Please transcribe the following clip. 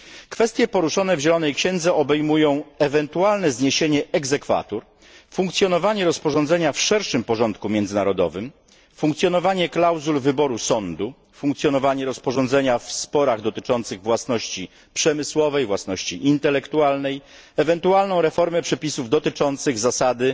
Kwestie poruszone w zielonej księdze obejmują ewentualne zniesienie procedury funkcjonowanie rozporządzenia w szerszym porządku międzynarodowym, funkcjonowanie klauzul wyboru sądu, funkcjonowanie rozporządzenia w sporach dotyczących własności przemysłowej i intelektualnej, ewentualną reformę przepisów dotyczących zasady